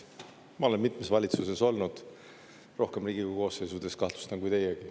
Ma olen mitmes valitsuses olnud, rohkemates Riigikogu koosseisudes, kahtlustan, kui teie.